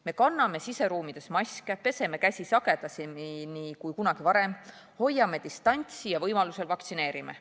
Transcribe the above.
Me kanname siseruumides maske, peseme käsi sagedamini kui kunagi varem, hoiame distantsi ja võimaluse korral vaktsineerime.